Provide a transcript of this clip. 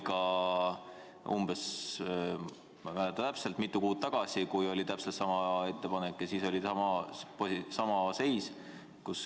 Ma ei mäleta täpselt, millal, aga mitu kuud tagasi oli sama seis.